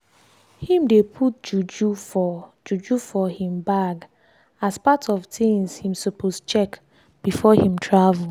him dey put juju for juju for him bag as part of things him suppose check before him travel.